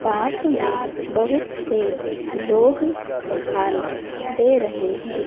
पास में बहुत से लोग दिखाई दे रहे हैं।